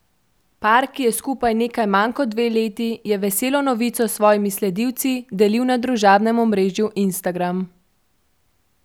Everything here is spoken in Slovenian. Par, ki je skupaj nekaj manj kot dve leti, je veselo novico s svojimi sledilci delil na družbenem omrežju Instagram.